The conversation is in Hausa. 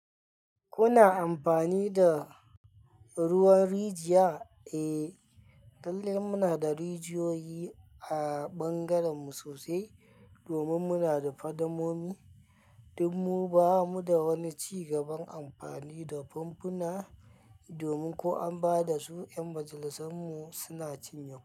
Kuna amfani da ruwan rijiya? Eh, lallai muna da rijiyoyi a ɓangarenmu sosai domin muna da fadammomi, duk mu ba mu da wani cigaban amfani da famfuna domin ko an ba da su, 'yan majalisar mu suna cinye.